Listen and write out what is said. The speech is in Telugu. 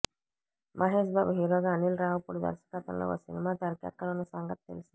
మహేశ్బాబు హీరోగా అనిల్ రావిపూడి దర్శకత్వంలో ఓ సినిమా తెరకెక్కనున్న సంగతి తెలిసిందే